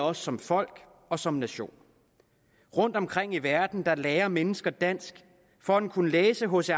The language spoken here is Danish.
os som folk og som nation rundtomkring i verden lærer mennesker dansk for at kunne læse hc